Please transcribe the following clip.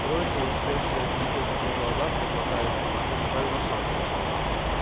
троица успевшая изрядно проголодаться глотая слюнки прибавила шагу